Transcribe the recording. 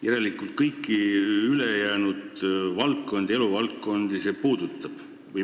Järelikult kõiki ülejäänud eluvaldkondi see puudutab.